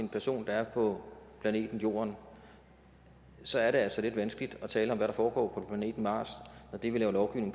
en person der er på planeten jorden så er det altså lidt vanskeligt at tale om hvad der foregår på planeten mars når det vi laver lovgivning